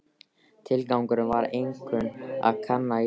Tilgangurinn var einkum að kanna jarðlög.